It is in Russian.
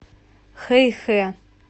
хэйхэ